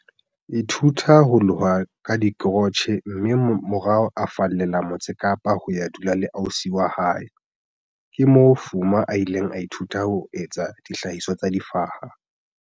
ithuta ho loha ka dikrotjhe mme morao a fallela Motse Kapa ho ya dula le ausi wa hae. Ke moo Fuma a ileng a ithuta ho etsa dihlahiswa tsa difaha,